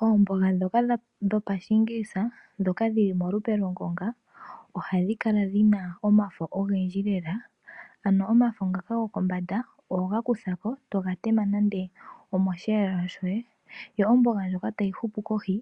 Oomboga ndhoka dho pashiingilisa, ndhoka dhili palupe lwongonga, ohadhi kala dhina omafo ogendji lela, ano omafo ngaka go kombanda oho ga kuthako, eto ga tema nande omosheelelwa shoye, yo omboga ndjoka hayi hupu kohi,